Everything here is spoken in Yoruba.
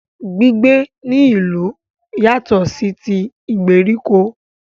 Gbígbé ní ìlú yatọ̀ sí tí ìgbèríko.